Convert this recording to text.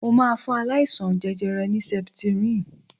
Mo máa fún aláìsaln jẹjẹrẹ ní septrin.